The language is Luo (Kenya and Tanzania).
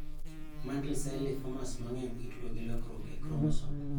Mantle cell lymphomas mang'eny itudo gi lokruok e kromosom